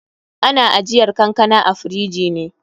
Ana ajiyar kankana a firiji ne.